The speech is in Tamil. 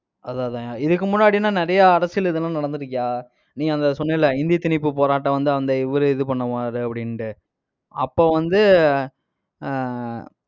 அதான் அதான்யா. இதுக்கு முன்னாடின்னா, நிறைய அரசியல் இதுலாம் நடந்து இருக்குயா, நீ அந்த சொன்ன இல்லை? இந்தி திணிப்பு போராட்டம் வந்து, அந்த இவரு இது பண்ணுவாரு அப்டிண்டு அப்ப வந்து ஆஹ்